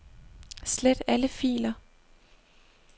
Slet alle filer.